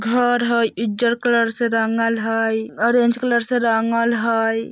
घर हय इज्जर कलर से रंगल हय ऑरेंज कलर से रंगल हय।